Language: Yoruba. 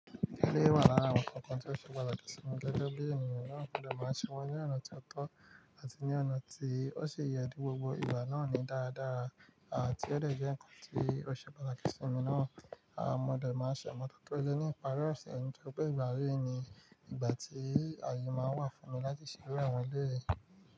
Ilé wà lára àwọn ǹkan kan tó ṣe pàtàkì sí mi lẹ́gbẹ́ bí ènìyàn náà tó máa ń ṣe wọ́n ní ọ̀nà tó ọ́tọ́ àti ní ọ̀nà tí ó ṣe ìyèdu gbogbo ìwà náà ní dáadáa àti ó lè jẹ́ ǹkan tí ó ṣe pàtàkì sí mi náà. A mọ̀ dáadáa ṣe mọ̀ tátọ́ ọ̀rẹ́ ní ìparí ọ̀sẹ̀ ẹni tó pé ìgbà réèyì ni ìgbà tí ayọ̀ máa ń wà fún mi láti ṣeré àwọn ilé.